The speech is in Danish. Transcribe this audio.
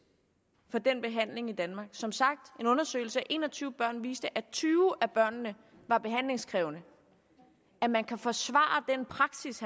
for den behandling i danmark som sagt en undersøgelse af en og tyve børn viste at tyve af børnene var behandlingskrævende at man kan forsvare den praksis